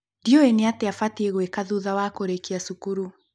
ndiũĩ nĩatĩa batiĩ gũĩka thutha wa kũrĩkia cukuru